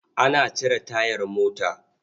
Ana cire tayar mota.